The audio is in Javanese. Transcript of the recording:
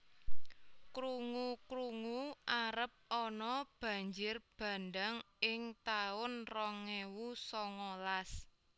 Krungu krungu arep ono banjir bandhang ing taun rong ewu songolas